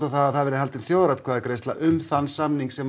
að það verði haldin þjóðaratkvæðagreiðsla um þann samning sem